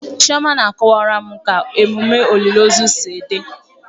Chioma na-akọwara m ka emume olili ozu si dị.